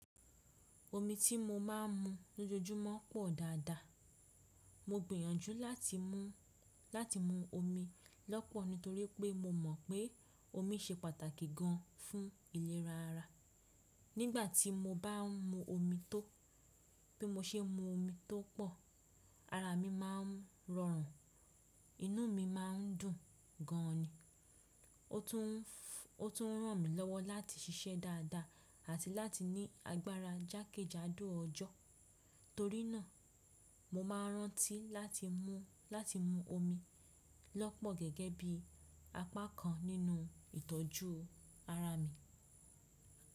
Omi tí mo má a ń mu lójoojúmọ́ pọ̀ dáadáa. Mo gbìyànjú láti mu, láti mu omi lọ́pọ̀ nítorí pé mo mọ̀n pé omi se pàtàkì gan fún ìlera ara. Nígbà tí mo bá ń mu omi tó, bí mo se e mu omi tó pọ̀, ara mi má a ń rọrùn, inú mi má a ń dùn gan ni. Ó tún ràn mí lọ́wọ́ láti ṣiṣẹ́ dáadáa àti láti ní agbára jákèjádò ọjọ́. Torí náà, mo má a rántí láti mu, láti mu omi lọ́pọ̀ gẹ́gẹ́ bí apá kan nínú ìtọ́jú ara mi.